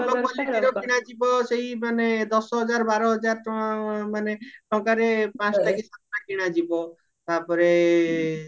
ଭଲ qualityର କିଣାଯିବା ସେଇ ମାନେ ଦଶ ହଜାର ବାର ହଜାର ଟଙ୍କା ମାନେ ଟଙ୍କାରେ ପଞ୍ଚଟା କି ସାତଟା କିଣାଯିବା ତାପରେ